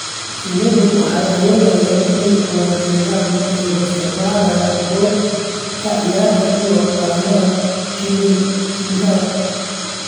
Shinnidu waxay awoodaan inay ku wada xidhiidhaan iyagoo isticmaalaya qoob ka ciyaarka iyo calaamadaha kiimikada.